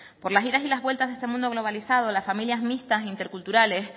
por las idas y las vueltas de este mundo globalizado las familias mixtas interculturales